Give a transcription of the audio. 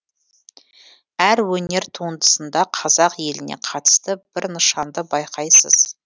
әр өнер туындысында қазақ еліне қатысты бір нышанды байқайсыз